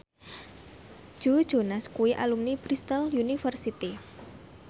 Joe Jonas kuwi alumni Bristol university